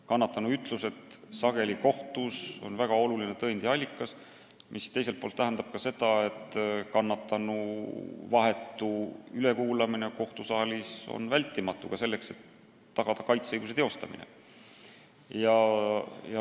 Kannatanu ütlused on kohtus sageli väga olulise tõendi allikaks, mis tähendab samuti seda, et kannatanu vahetu ülekuulamine kohtusaalis on vältimatu, kui tahetakse tagada ka kaitseõiguse teostamine.